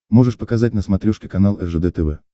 можешь показать на смотрешке канал ржд тв